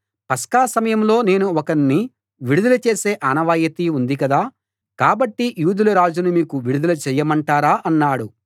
పస్కా సమయంలో నేను ఒకణ్ణి విడుదల చేసే ఆనవాయితీ ఉంది కదా కాబట్టి యూదుల రాజును మీకు విడుదల చెయ్యమంటారా అన్నాడు